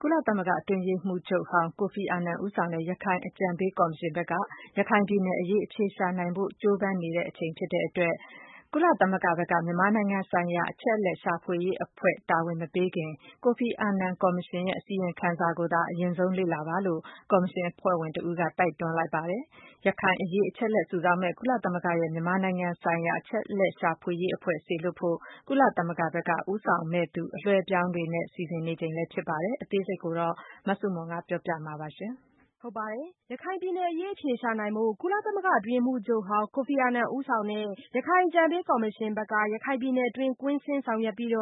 ကုလသမဂ္ဂအတွင်းရေးမှူးချုပ်ဟောင်း ကိုဖီအာနန်ဦးဆောင်တဲ့ ရခိုင်အကြံပေးကော်မရှင်ဘက်က ရခိုင်ပြည်နယ်အရေး အဖြေရှာနိုင်ဖို့ကြိုးပမ်းနေချိန်ဖြစ်တဲ့အတွက် ကုလသမဂ္ဂဘက်က မြန်မာနိုင်ငံဆိုင်ရာ အချက်အလက်ရှာဖွေရေးအဖွဲ့ တာဝန်မပေးခင် ကိုဖီအာနန်ကော်မရှင်ရဲ့ အစီရင်ခံစာကိုသာ အရင်ဆုံးလေ့လာပါလို့ ကော်မရှင်အဖွဲ့ဝင်တဦးက တိုက်တွန်းပြောဆိုလိုက်ပါတယ်။ ရခိုင်အရေး အချက်အလက် စုဆောင်းမယ့် ကုလသမဂ္ဂရဲ့ မြန်မာဆိုင်ရာ အချက်အလက်ရှာဖွေရေးအဖွဲ့စေလွှတ်ဖို့ ကုလဘက်က ဦးဆောင်မယ့်သူ အပြောင်းအလဲတွေနဲ့ စီစဉ်နေချိန်လည်းဖြစ်ပါတယ်။ အသေးစိတ် မဆုမွန် ပြောပြပါမယ်။ ရခိုင်ပြည်နယ်အရေး အဖြေရှာနိုင်ဖို့ ကုလသမဂ္ဂအတွင်းရေးမှူးချုပ်ဟောင်းကိုဖီအာနန်ဦးဆောင်တဲ့ ရခိုင်အကြံပေးကော်မရှင်ဘက်က ရခိုင်ပြည်နယ်တွင်း ကွင်းဆင်းဆောင်ရွက်ပြီး